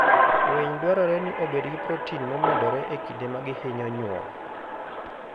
Winy dwarore ni obed gi protein momedore e kinde ma gihinyo nyuol.